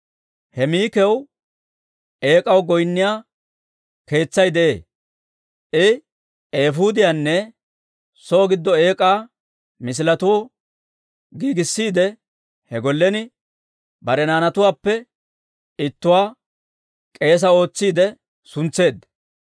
He Mikaw eek'aw goynniyaa keetsay de'ee. I eefuudiyaanne soo giddo eek'aa misiletuwaa giigissiide, he gollen bare naanatuwaappe ittuwaa k'eesaa ootsiide suntseedda.